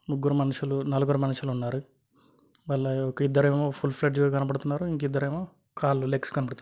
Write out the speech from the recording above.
ముగ్గురు మనుషులు నలుగురు మనుషులు ఉన్నారు వాళ్ళు ఇద్దరేమో ఫుల్ ఫ్లెజెడ్ కనపడ్తునారు ఇంకా ఇద్దరేమో కాళ్ళు లెగ్స్ కనబడత--